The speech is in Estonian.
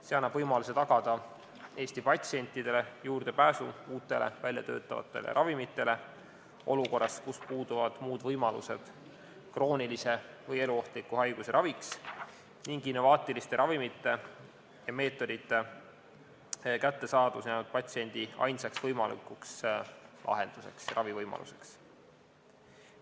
See annab võimaluse tagada Eesti patsientidele juurdepääsu uutele väljatöötatavatele ravimitele olukorras, kus puuduvad muud võimalused kroonilise või eluohtliku haiguse raviks ning innovaatiliste ravimite ja meetodite kättesaadavus jääb patsiendi ainsaks võimalikuks lahenduseks ja ravivõimaluseks.